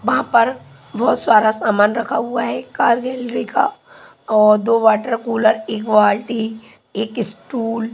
वहां पर बहोत सारा सामान रखा हुआ है कार गैलरी का का और दो वाटर कूलर एक बाल्टी एक स्टूल --